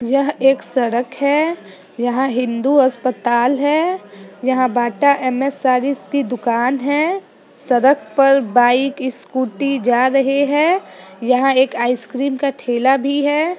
यह एक सड़क है यहाँ हिन्दू अस्पताल है यहाँ बाटा एम एस सारीज की दुकान है सड़क पर बाइक स्कूटी जा रहे हैं यहाँ एक आइसक्रीम का ठेला भी है।